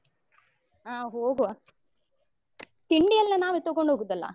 ಹ ಹೋಗುವ ತಿಂಡಿಯೆಲ್ಲ ನಾವೇ ತಗೊಂಡು ಹೋಗುದಲ್ಲ.